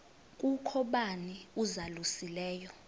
kukho bani uzalusileyo